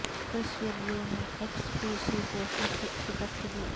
کرس یریو نے X P C کو شکست دی